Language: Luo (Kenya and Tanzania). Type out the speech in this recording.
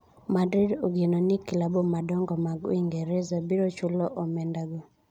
Madrid ogeno ni klabu madongo mag Uingereza biro chulo omenda go.